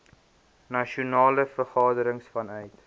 nasionale vergadering vanuit